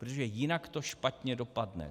Protože jinak to špatně dopadne.